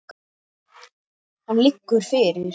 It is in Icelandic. Hann liggur fyrir.